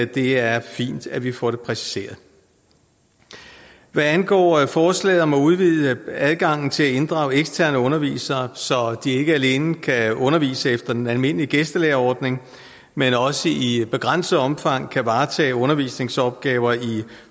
det er fint at vi får det præciseret hvad angår forslaget om at udvide adgangen til at inddrage eksterne undervisere så de ikke alene kan undervise efter den almindelige gæstelærerordning men også i begrænset omfang kan varetage undervisningsopgaver i